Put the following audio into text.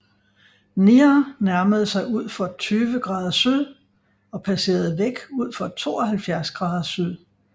Near nærmede sig udfor 20 grader syd og passerede væk udfor 72 grader syd